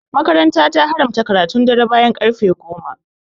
makaranta ta haramta karatun dare bayan karfe goma